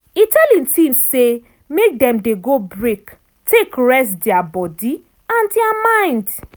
e tell e team say make dem dey go break take rest dia body and dia mind.